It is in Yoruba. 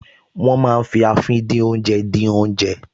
Wọ́n máa ń fi àfìdínoúnjẹ dín oúnjẹ